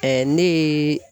ne ye